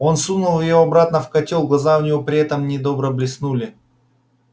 он сунул его обратно в котёл глаза у него при этом недобро блеснули